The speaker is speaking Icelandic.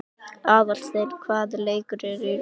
Aðalsteina, hvaða leikir eru í kvöld?